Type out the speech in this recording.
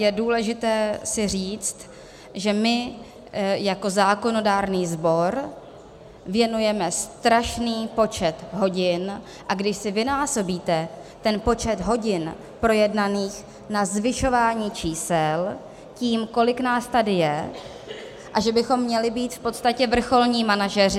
Je důležité si říct, že my jako zákonodárný sbor věnujeme strašný počet hodin - a když si vynásobíte ten počet hodin projednaných na zvyšování čísel tím, kolik nás tady je, a že bychom měli být v podstatě vrcholní manažeři...